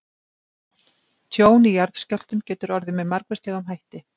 Tjón í jarðskjálftum getur orðið með margvíslegum hætti.